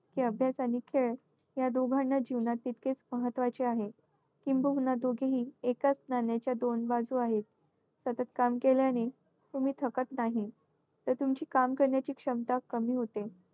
की अभ्यास आणि खेळ या दोघांना जीवनात तितकेच महत्त्वाचे आहे. किंबहुना दोघेही एकाच नाण्याच्या दोन बाजू आहेत. सतत काम केल्याने तुम्ही थकत नाही. तर तुमची काम करण्याची क्षमता कमी होते.